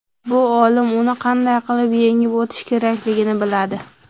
Bu olim uni qanday yengib o‘tish kerakligini biladi.